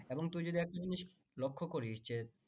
এবং তুই যদি একটা জিনিস লক্ষ্য করিস যে